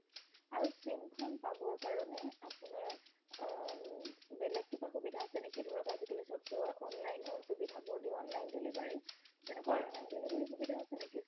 আৰু sim খন পাবৰ কাৰণে আপোনাৰ বেলেগ কিবা সুবিধা আছে নেকি ধৰক আজিকালি চবটো online ৰ সুবিধা বোৰ দিও online delivery হয় তেনেকুৱা ধৰণৰ সুবিধা আছে নেকি